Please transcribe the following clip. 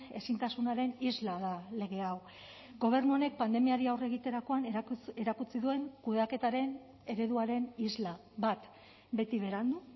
ezintasunaren isla da lege hau gobernu honek pandemiari aurre egiterakoan erakutsi duen kudeaketaren ereduaren isla bat beti berandu